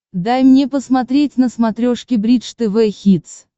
дай мне посмотреть на смотрешке бридж тв хитс